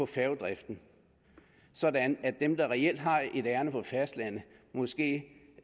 færgedriften sådan at dem der reelt har et ærinde på fastlandet måske